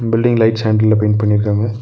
Building lights ஹண்டில்ல paint பண்ணிருகாங்க.